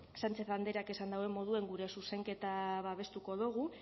sánchez andreak esan duen moduen gure zuzenketa babestuko dogu